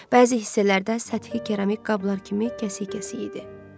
Bəzi hissələrdə səthi keramik qablar kimi kəsik-kəsik idi.